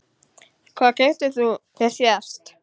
Hvað keyptir þú þér síðast?